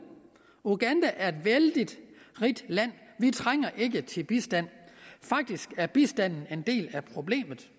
uganda er et vældig rigt land vi trænger ikke til bistand faktisk er bistanden en del af problemet